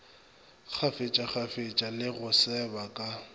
kgafetšakgafetša le go seba ka